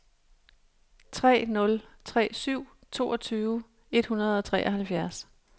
tre nul tre syv toogtyve et hundrede og treoghalvfjerds